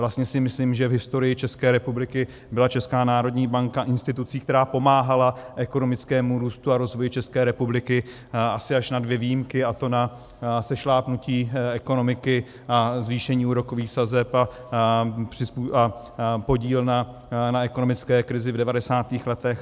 Vlastně si myslím, že v historii České republiky byla Česká národní banka institucí, která pomáhala ekonomickému růstu a rozvoji České republiky, asi až na dvě výjimky, a to na sešlápnutí ekonomiky a zvýšení úrokových sazeb a podíl na ekonomické krizi v 90. letech.